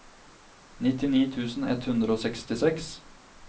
nittini tusen ett hundre og sekstiseks